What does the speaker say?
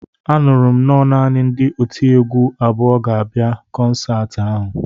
Anụrụ m nọ naanị ndị otiegwu abụọ ga-abịa kọnsaati ahụ